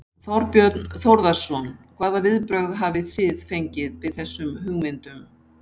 Þorbjörn Þórðarson: Hvaða viðbrögð hafið þið fengið við þessum hugmyndum?